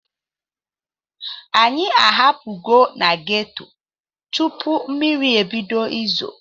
Anyị apugo na geto tupu mmiri ebido izo.